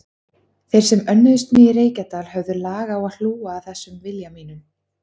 Þeir sem önnuðust mig í Reykjadal höfðu lag á að hlúa að þessum vilja mínum.